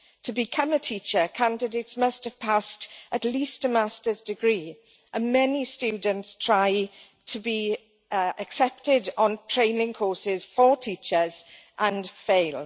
To become a teacher, candidates must have passed at least a master's degree, and many students try to be accepted on training courses for teachers and fail.